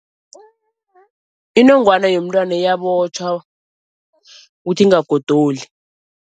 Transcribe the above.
Inongwana yomntwana iyabotjhwa kuthi ingagodoli.